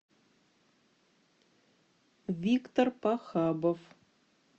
виктор пахабов